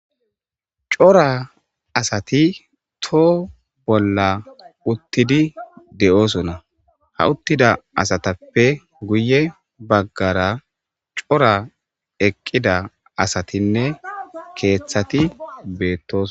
Cora asati too bolla uttidi de7oosonna ha uttida asatappe guye baggara cora eqqida asatinne keeththati beettos